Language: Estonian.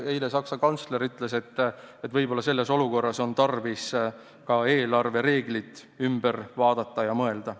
Eile ütles Saksa kantsler, et võib-olla on selles olukorras tarvis ka eelarvereeglid üle vaadata ja uuesti läbi mõelda.